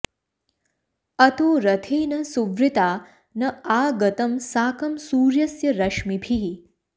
अतो रथेन सुवृता न आ गतं साकं सूर्यस्य रश्मिभिः